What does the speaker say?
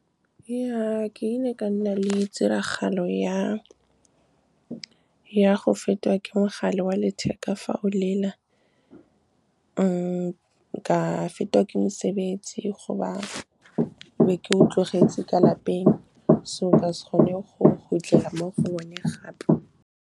Ja, ke ne ka nna le tiragalo ya go fetwa ke mogala wa letheka fa o lela. Ka fetwa ke mosebetsi goba be ke o tlogetse ka lapeng, so ka se kgone go khutlela mo go one gape.